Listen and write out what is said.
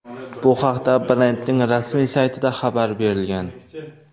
Bu haqda brendning rasmiy saytida xabar berilgan .